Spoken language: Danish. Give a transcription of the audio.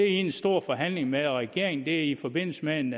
en stor forhandling med en regering det er i forbindelse med en